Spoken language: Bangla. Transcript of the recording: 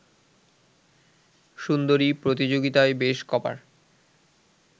সুন্দরী প্রতিযোগিতায় বেশ ক’বার